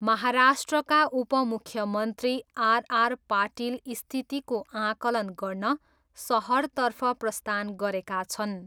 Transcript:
महाराष्ट्रका उपमुख्यमन्त्री आरआर पाटिल स्थितिको आकलन गर्न सहरतर्फ प्रस्थान गरेका छन्।